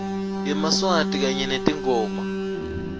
yemaswati kanye netingoma